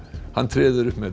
hann treður upp með